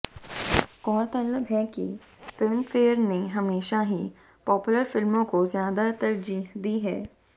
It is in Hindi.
गौरतलब है कि फिल्मफेयर ने हमेशा ही पॉपुलर फिल्मों को ज़्यादा तरजीह दी है